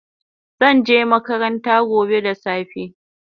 Zanje makaranta gobe da safe